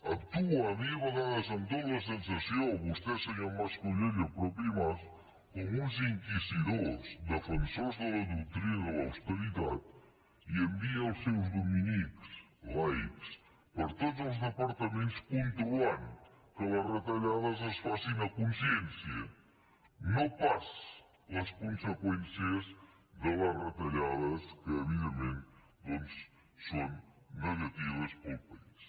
actuen a mi a vegades em dóna la sensació vostè senyor mas colell i el mateix mas com uns inquisidors defensors de la doctrina de l’austeritat i envia els seus dominics laics per tots els departaments controlant que les retallades es facin a consciència no pas les conseqüències de les retallades que evidentment doncs són negatives per al país